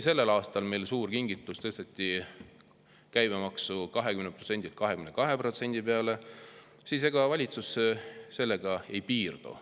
Sellel aastal tehti suur kingitus, tõsteti käibemaks 20%‑lt 22% peale, aga ega valitsus sellega ei piirdu.